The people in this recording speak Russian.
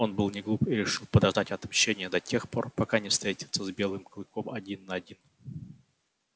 он был неглуп и решил подождать отмщением до тех пор пока не встретится с белым клыком один на один